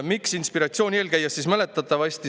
Miks inspiratsiooni eel?